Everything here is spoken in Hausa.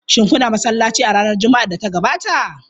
Shin kuna masallaci a ranar Juma'ar da ta gabata?